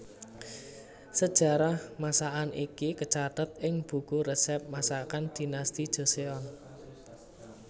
Sejarah masakan iki kacathet ing buku resep masakan Dinasti Joseon